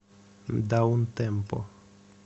даунтемпо